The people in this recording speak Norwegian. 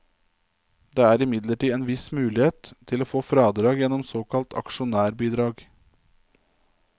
Det er imidlertid en viss mulighet til å få fradrag gjennom såkalt aksjonærbidrag.